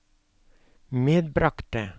medbragte